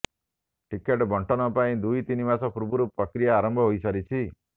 ticket ବଣ୍ଟନ ପାଇଁ ଦୁଇ ତିନି ମାସ ପୂର୍ବରୁ ପ୍ରକ୍ରିୟା ଆରମ୍ଭ ହୋଇସାରିଛି